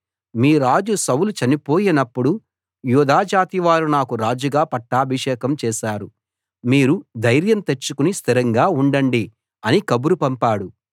మీ రాజు సౌలు చనిపోయినప్పుడు యూదా జాతి వారు నాకు రాజుగా పట్టాభిషేకం చేశారు మీరు ధైర్యం తెచ్చుకుని స్థిరంగా ఉండండి అని కబురు పంపాడు